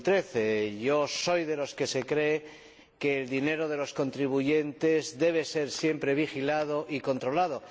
2013. Yo soy de los que piensan que el dinero de los contribuyentes debe ser siempre vigilado y controlado.